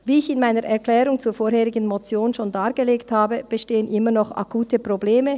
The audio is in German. Wie ich in meiner Erklärung zur vorherigen Motion schon dargelegt habe, bestehen immer noch akute Probleme;